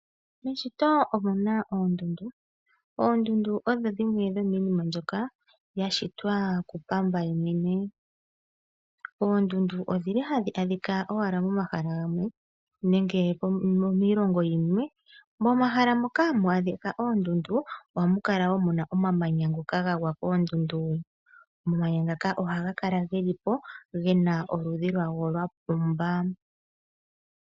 Miishitwa omu na oondundu. Oondundu odho dhimwe dhomiinima mbyoka yashitwa kuPamba ye mwene. Oondundu odhi li hadhi adhika owala momahala gamwe nenge dhi li miilongo yimwe. Momahala moka hamu adhika oondundu, ohamu kala wo mu na omamanya ngoka gagwa koondundu. Omamanya ngaka ohaga kala ge li po ge na oludhi lwawo lwapumba.